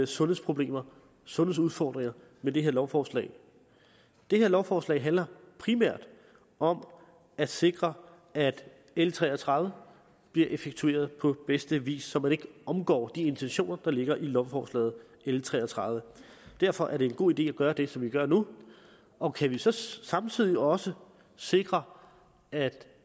sundhedsproblemer sundhedsudfordringer med det her lovforslag det her lovforslag handler primært om at sikre at l tre og tredive bliver effektueret på bedste vis så man ikke omgår de intentioner der ligger i lovforslag l tre og tredive derfor er det en god idé at gøre det som vi gør nu og kan vi så så samtidig også sikre at